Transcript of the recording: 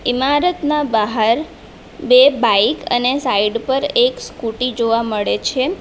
ઇમારતના બહાર બે બાઈક અને સાઈડ પર એક સ્કુટી જોવા મળે છે.